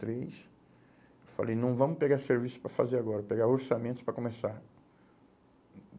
três. Falei, não vamos pegar serviço para fazer agora, pegar orçamentos para começar.